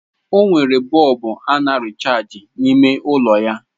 O nwere bọlbụ a na rịchaajị n'ime ụlọ ya.